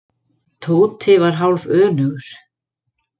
Tóti var hálfönugur.